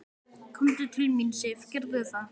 Komdu til mín, Sif, gerðu það.